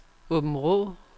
Åbenrå